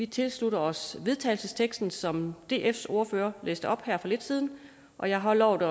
tilslutter os vedtagelsesteksten som dfs ordfører læste op her for lidt siden og jeg har lovet at